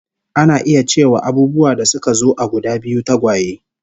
Ana iya cewa abubuwa da suka zo a guda biyu, tagwaye